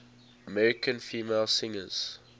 american female singers